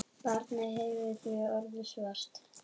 Barnið hefði því orðið svart.